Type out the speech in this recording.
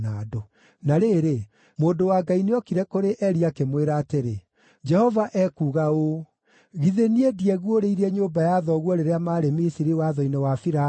Na rĩrĩ, mũndũ wa Ngai nĩokire kũrĩ Eli, akĩmwĩra atĩrĩ, “Jehova ekuuga ũũ: ‘Githĩ niĩ ndieguũrĩirie nyũmba ya thoguo rĩrĩa maarĩ Misiri watho-inĩ wa Firaũni?